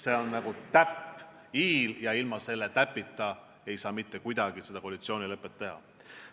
See on nagu täpp i-l ja ilma selle täpita ei saanud mitte kuidagi koalitsioonilepet teha.